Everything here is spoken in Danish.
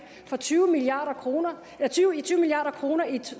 for tyve milliard kroner